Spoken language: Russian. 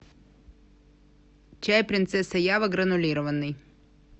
чай принцесса ява гранулированный